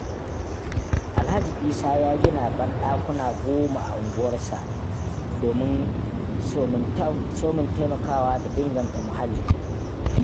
Alhaji Isa ya gina banɗakuna goma a unguwarsa, somin taimakawa da inganta muhalli.